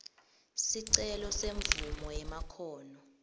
sicelo semvumo yemakhono